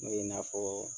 N'o ye i n'a fɔ